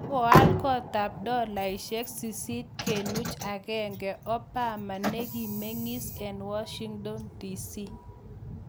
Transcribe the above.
Kokoal koot ab dolaunik 8.1 Obama nebo kemeng'iis eng Washington DC